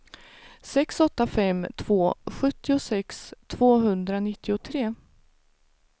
sex åtta fem två sjuttiosex tvåhundranittiotre